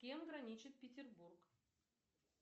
с кем граничит петербург